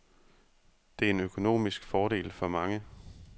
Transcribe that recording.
Det er en økonomisk fordel for mange.